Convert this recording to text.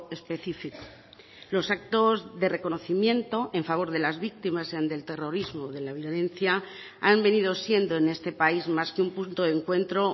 específico los actos de reconocimiento en favor de las víctimas sean del terrorismo o de la violencia han venido siendo en este país más que un punto de encuentro